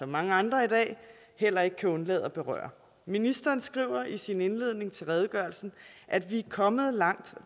mange andre i dag heller ikke kan undlade at berøre ministeren skriver i sin indledning til redegørelsen at vi er kommet langt